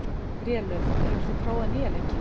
Grélöð, hefur þú prófað nýja leikinn?